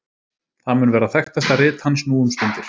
Það mun vera þekktasta rit hans nú um stundir.